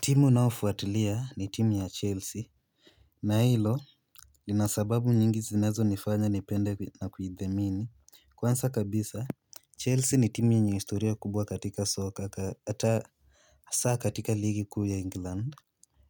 Timu naofuatilia ni timu ya Chelsea na hilo nina sababu nyingi zinazonifanya nipende na kujidhamini. Kwanza kabisa, Chelsea ni timu yenye historia kubwa katika soka ata hasa katika ligi kuu ya England.